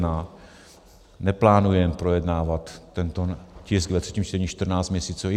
Neplánujeme projednávat tento tisk ve třetím čtení 14 měsíců.